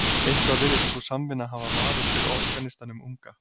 Eitthvað virðist sú samvinna hafa vafist fyrir organistanum unga.